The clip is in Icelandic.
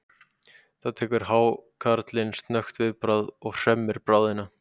Þá tekur hákarlinn snöggt viðbragð og hremmir bráðina.